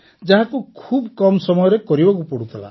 ଯାହାକୁ ଖୁବ୍ କମ୍ ସମୟରେ କରିବାକୁ ପଡ଼ୁଥିଲା